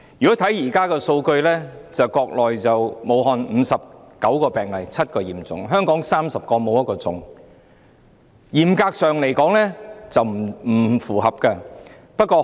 根據現時的數據，武漢有59宗病例，其中7宗屬重症；香港有30宗懷疑個案，未有確診個案。